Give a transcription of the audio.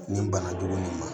Nin bana jugu in ma